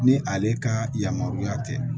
Ni ale ka yamaruya tɛ